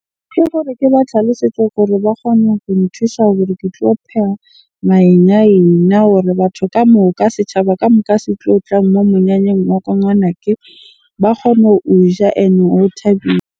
Ke gore ke ba tlhalosetse gore ba kgone ho nthusa hore ke tlo pheha hore batho ka moka, setjhaba ka moka se tlotla ngwanake ba kgone ho o ja o thabile.